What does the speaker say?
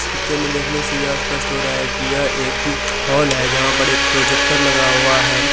इस पिक्चर के देखने से यह स्पष्ट हो रहा है की यह एक हॉल जहाँ पर एक प्रोजेक्टर लगा हुआ है।